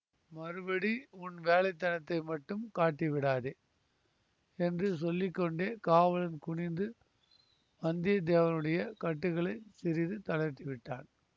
மறுபடி உன் வேலைத்தனத்தை மட்டும் காட்டிவிடாதே என்று சொல்லி கொண்டே காவலன் குனிந்து வந்தியத்தேவனுடைய கட்டுக்களைச் சிறிது தளர்த்தி விட்டான்